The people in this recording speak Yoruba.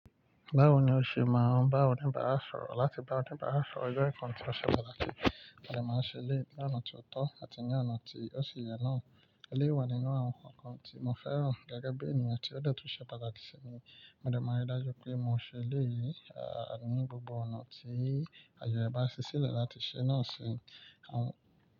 Báwo ni o ṣe máa ń bá oníbàárà sọ̀rọ̀ láti bá oníbàárà sọ̀rọ̀ o jẹ́ nǹkan tí o ṣe pàtàkì, mo dè máa ṣe léyi ní ọ̀nà tó ọ́tọ́ àti ní ọ̀nà tí ó ṣi yẹ náà. Ó lé wà nínú àwọn nǹkan tí mo fẹ́ràn gẹ́gẹ́ bí èèyàn tí ó detu ṣe pàtàkì sí mi. Mo dẹ̀ máa rí dájú pé mo ṣe léyi, àní gbogbo ọ̀nà tí àyè bá ṣisẹ́ le láti ṣe náà ṣi. Àwọn.